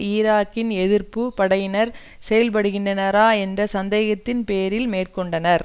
ஈராக்கின் எதிர்ப்பு படையினர் செயல்படுகின்றனரா என்ற சந்தேகத்தின் பேரில் மேற்கொண்டனர்